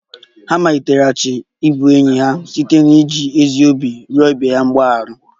Ha maliteghachiri ịbụ enyi ha site n'iji ezi obi rịọ ibe ha mgbaghara